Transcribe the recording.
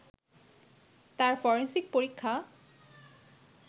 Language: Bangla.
তার ফরেন্সিক পরীক্ষা